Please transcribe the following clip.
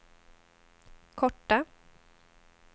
korta